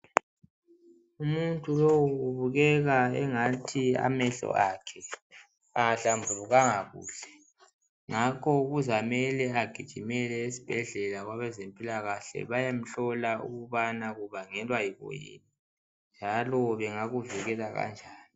Umuntu lowu ubukeka engathi amehlo akhe awahlambulukanga kuhle ngakho kuzamele agijimele eSibhedlela kwabezempilakahle bayemhlola ukubana kubangelwa yikuyini njalo bengakuvikela kanjani.